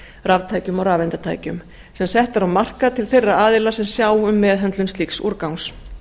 raftækjum og rafeindatækjum sem sett eru á markað til þeirra aðila sem sjá um meðhöndlun slíks úrgangs